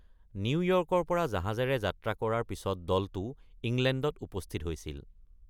নিউয়ৰ্কৰ পৰা জাহাজেৰে যাত্ৰা কৰাৰ পিছত দলটো ইংলেণ্ডত উপস্থিত হৈছিল।